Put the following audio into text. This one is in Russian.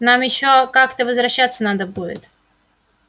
нам ещё как-то возвращаться надо будет